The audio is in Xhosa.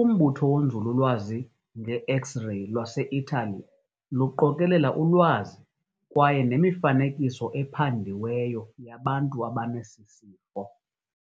Umbutho wonzululwazi ngeX-reyi lwaseItaly luqokelela ulwazi kwaye nemifanekiso ephandiweyo yabantu abanesisifo.